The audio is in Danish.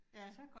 Ja